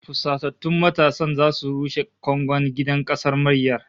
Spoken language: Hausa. Fusatattun matasan zasu rushe kangon gidan kasar mayyar